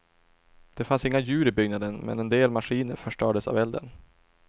Det fanns inga djur i byggnaden men en del maskiner förstördes av elden.